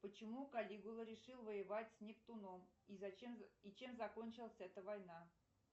почему каллигула решил воевать с нептуном и чем закончилась эта война